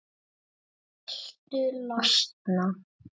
Ég er viss um það.